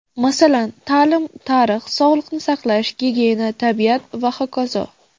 Masalan, ta’lim, tarix, sog‘liqni saqlash, gigiyena, tabiat va hokazo.